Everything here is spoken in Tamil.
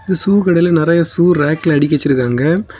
ஷூ கடையில நிறைய ஷூ ரேக்ல அடுக்கி வச்சிருக்காங்க.